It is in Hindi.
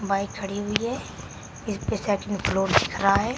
बाइक खड़ी हुई है इसपे शट रहा है।